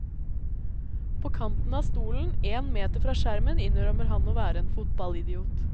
På kanten av stolen én meter fra skjermen innrømmer han å være en fotballidiot.